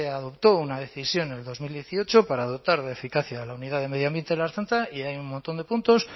adoptó una decisión en dos mil dieciocho para dotar de eficacia a la unidad de medio ambiente de la ertzaintza y hay un montón de puntos